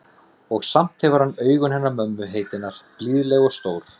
Og samt hefur hann augun hennar mömmu heitinnar, blíðleg og stór.